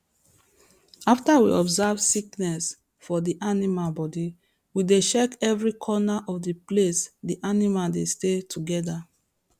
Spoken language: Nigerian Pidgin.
after we observe sickness fo the animal body we dey check every corner of the place the animal dey stay together